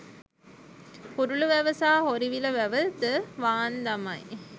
හුරුළු වැව සහ හොරිවිල වැව ද වාන් දමයි